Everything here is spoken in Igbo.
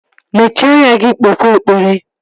Mechie anya gị kpewe ekpere!